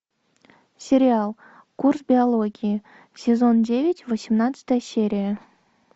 сериал курс биологии сезон девять восемнадцатая серия